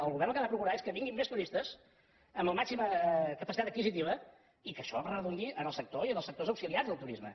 el govern el que ha de procurar és que vinguin més turistes amb la màxima capacitat adquisitiva i que això redundi en el sector i en els sectors auxiliars del turisme